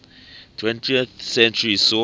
twentieth century saw